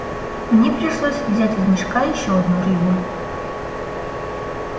мне пришлось взять из мешка ещё одну рыбу